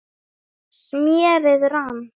smérið rann